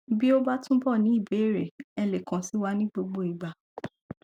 bí o ba túbọ ní ìbéèrè ẹ lè kàn sí wa ní gbogbo ìgbà